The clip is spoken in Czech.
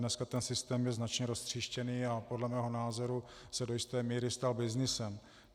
Dnes ten systém je značně roztříštěný a podle mého názoru se do jisté míry stal byznysem.